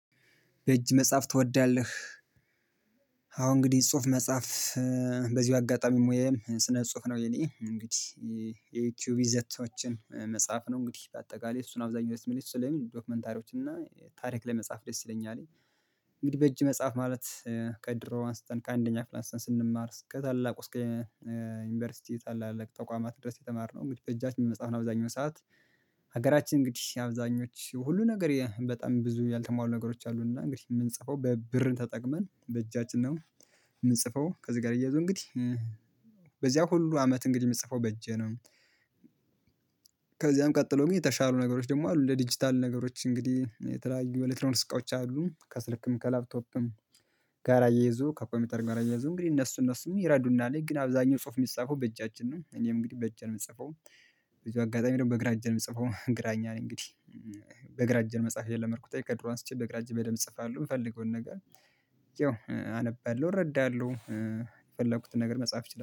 በእጅ መጽሐፍ ትወዳለህ? አዎ እንግዲህ ጽሁፍ መጻፍ በዚህ አጋጣሚ ሞያዬም ስነ ጽሁፍ ነው። የኔ እንግዲህ የዩቲዩብ ይዘቶዎችን መጻፍ ነው እንግዲህ። በአጠቃላይ እሱነው አብዛኛው ስሜቴ ስለምን ዶክመንታሪዎች እና ታሪክ ላይ መጻፍ ደስ ይለኛል። እንግዲህ በእጅ መጻፍ ማለት ከድሮ አንስተን ከአንደኛ ስንማር እስከ ታላቁ እስከ ዩኒቨርሲቲ ታላላቅ ተቋማት ድረስ የተማርነው በእጃችን መጻፍ አብዛኛውን ሰዓት። ሀገራችን እንግዲህ አብዛኞቹ ሁሉ ነገር በጣም ብዙ ያልተሟሉ ነገሮች አሉን እና እንግዲህ የምንጽፈው ብርን ተጠቅመን በእጃችን ነው የምንጽፈው ከዚህ ጋር አያይዞ እንግዲህ በዚያ ሁሉ አመት እንግዲህ የምጽፈው በእጄ ነው። ከዚያም ቀጥሎ ግን የተሻሉ ነገሮች ደግሞ አሉ። እንደ ዲጂታል ነገሮች እንግዲህ የተለያዩ የኤሌክትሮኒክስ ዕቃውች አሉ ከስልክም ከላፕቶፕም ጋራ አያይዞ ከኮምፒተር ጋራ አያይዞ እንግዲህ እነሱ እነሱ ይረዱናል ግን አብዛኛው ጽሁፍ የሚጻፈው በእጃችን ነው። እኔም እንግዲህ በእጄነው የምጽፈው። በዚሁ አጋጣሚ ደግሞ በግራ እጄ ነው የምጽፈው ግራኝ ነኝ እንግዲህ። በግራ እጄነው መጻፍ የለመድኩት ከድሮ አንስቼ በግራ እጄ በደንብ እጽፋለሁ የምፈልገውን ነገር ያው አነባለሁ እረዳለሁ የፈለኩትን ነገር መጻፍ እችላለሁ።